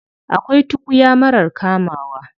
Akwai tukuya marar kamawa.